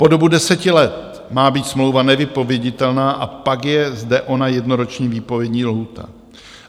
Po dobu deseti let má být smlouva nevypověditelná a pak je zde ona jednoroční výpovědní lhůta.